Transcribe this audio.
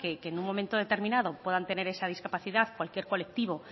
que en un momento determinado puedan tener esa discapacidad cualquier colectivo